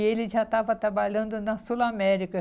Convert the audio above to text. E ele já estava trabalhando na Sul América.